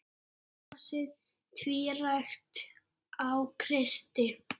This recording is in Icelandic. Brosið tvírætt á Kristi.